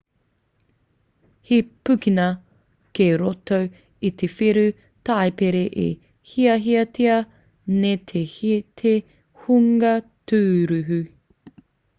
he pukenga kei roto i te whiu taipere e hiahiatia nei e te hunga tūruhi